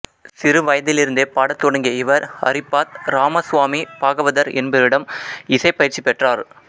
சிறு வயதிலிருந்தே பாட தொடங்கிய இவர் ஹரிப்பாத் ராமஸ்வாமி பாகவதர் என்பவரிடம் இசை பயிற்சி பெற்றார்